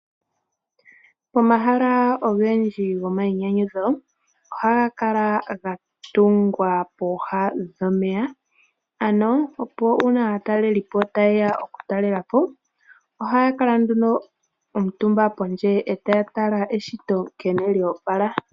Omahala ogendji gomainyanyudho ohaga kala ga tungwa pooha dhomeya, opo uuna aatalelipo ta yeya oku talelapo, ohaya kala nduno omutumba pondje, eta ya tala nkene eshito lyoopala.